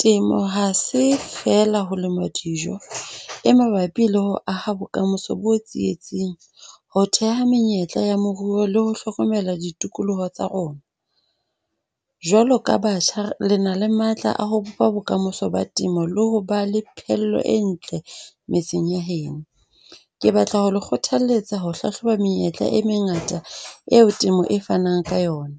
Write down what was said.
Temo ha se fela ho lema dijo, e mabapi le ho aha bokamoso bo tsietsing, ho theha menyetla ya moruo le ho hlokomela ditikoloho tsa rona. Jwalo ka batjha, le na le matla a ho bopa bokamoso ba temo. Le ho ba le phello e ntle metseng ya heno. Ke batla ho le kgothalletsa ho hlahloba menyetla e mengata eo temo e fanang ka yona.